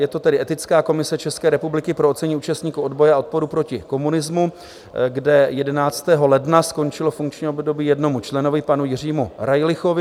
Je to tedy Etická komise České republiky pro ocenění účastníků odboje a odporu proti komunismu, kde 11. ledna skončilo funkční období jednomu členovi, panu Jiřímu Rajlichovi.